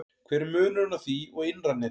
Hver er munurinn á því og innra neti?